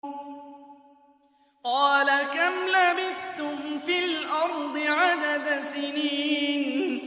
قَالَ كَمْ لَبِثْتُمْ فِي الْأَرْضِ عَدَدَ سِنِينَ